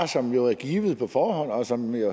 som jo er givet på forhånd og som